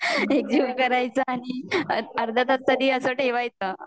ते पूर्ण एकजीव करायच नई ning अर्धा तास अस ठेवायचं